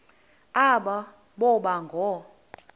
aba boba ngoo